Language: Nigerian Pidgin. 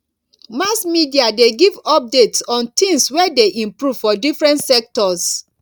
mass media de give updates on things wey de improve for different sectors